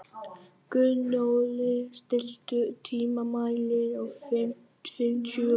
Gunnóli, stilltu tímamælinn á fimmtíu og eina mínútur.